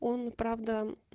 он правда